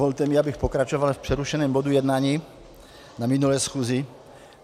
Dovolte mi, abych pokračoval v přerušeném bodu jednání z minulé schůze.